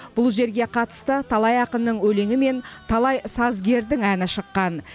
бұл жерге қатысты талай ақынның өлеңі мен талай сазгердің әні шыққан